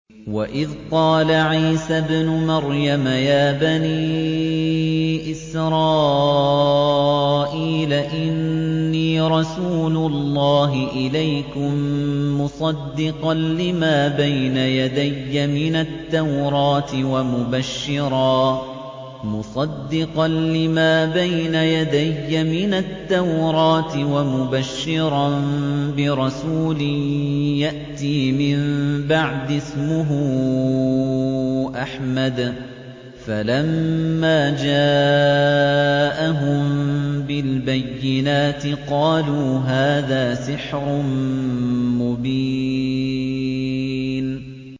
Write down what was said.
وَإِذْ قَالَ عِيسَى ابْنُ مَرْيَمَ يَا بَنِي إِسْرَائِيلَ إِنِّي رَسُولُ اللَّهِ إِلَيْكُم مُّصَدِّقًا لِّمَا بَيْنَ يَدَيَّ مِنَ التَّوْرَاةِ وَمُبَشِّرًا بِرَسُولٍ يَأْتِي مِن بَعْدِي اسْمُهُ أَحْمَدُ ۖ فَلَمَّا جَاءَهُم بِالْبَيِّنَاتِ قَالُوا هَٰذَا سِحْرٌ مُّبِينٌ